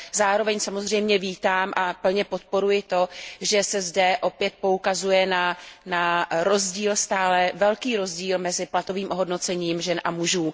Zároveň samozřejmě vítám a plně podporuji to, že se zde opět poukazuje na stále velký rozdíl mezi platovým ohodnocením žen a mužů.